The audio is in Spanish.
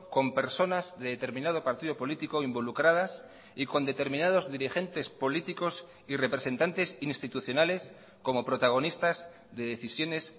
con personas de determinado partido político involucradas y con determinados dirigentes políticos y representantes institucionales como protagonistas de decisiones